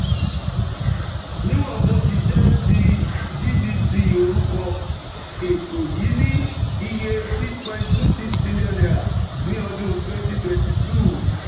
Níwọ̀n bó ti jẹ́ ti GDP orúkọ, ètò yìí ní iye N6.26 trillion ní ọdún 2022.